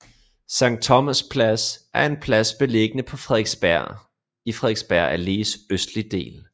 Sankt Thomas Plads er en plads beliggende på Frederiksberg i Frederiksberg Allés østlige del